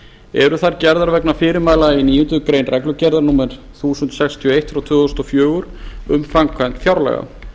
eru þær gerðar vegna fyrirmæla í níundu grein reglugerðar númer eitt þúsund sextíu og eitt tvö þúsund og fjögur um framkvæmd fjárlaga